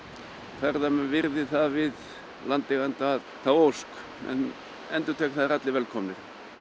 ferðamenn virði við landeiganda þá ósk en endurtek að það eru allir velkomnir